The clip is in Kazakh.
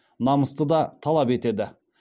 намысты да талап етеді